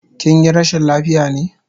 Kinyi rashin lafiya ne?